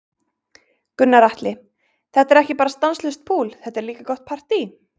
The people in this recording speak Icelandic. Gunnar Atli: Þetta er ekki bara stanslaust púl, þetta er líka gott partý?